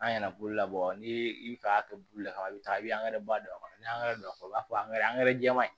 An ɲɛna bulu labɔ n'i bi fɛ a ka bulu laban i bi taa i bi ba don a kɔnɔ ni don a kɔrɔ u b'a fɔ angɛrɛ jɛman in